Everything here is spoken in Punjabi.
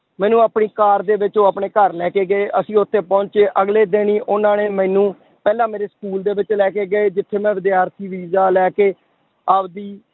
ਮੈਨੂੰ ਆਪਣੀ ਕਾਰ ਦੇ ਵਿੱਚ ਉਹ ਆਪਣੇ ਘਰ ਲੈ ਕੇ ਗਏ, ਅਸੀਂ ਉੱਥੇ ਪਹੁੰਚੇ ਅਗਲੇ ਦਿਨ ਹੀ ਉਹਨਾਂ ਨੇ ਮੈਨੂੰ ਪਹਿਲਾਂ ਮੇਰੇ school ਦੇ ਵਿੱਚ ਲੈ ਕੇ ਗਏ ਜਿੱਥੇ ਮੈਂ ਵਿਦਿਆਰਥੀ ਵੀਜ਼ਾ ਲੈ ਕੇ ਆਪਦੀ